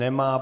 Nemá.